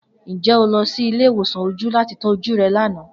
Njẹ o lọ si ile-iwosan oju lati tọju oju rẹ lana?